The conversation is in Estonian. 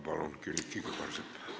Palun, Külliki Kübarsepp!